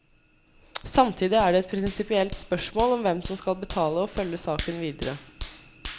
Samtidig er det et prinsipielt spørsmål om hvem som skal betale og følge saken videre.